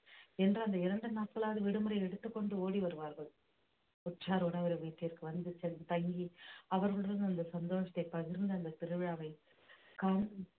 என்று அந்த இரண்டு நாட்களாவது விடுமுறை எடுத்துக் கொண்டு ஓடி வருவார்கள் உற்றார் உறவினர் வீட்டிற்கு வந்து சென்று தங்கி அவர்களுடன் அந்த சந்தோஷத்தை பகிர்ந்து அந்த திருவிழாவை காண்~